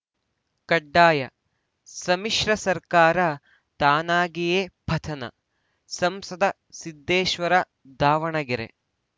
ಕಡ್ಡಾಯ ಸಮ್ಮಿಶ್ರ ಸರ್ಕಾರ ತಾನಾಗಿಯೇ ಪತನ ಸಂಸದ ಸಿದ್ದೇಶ್ವರ ದಾವಣಗೆರೆ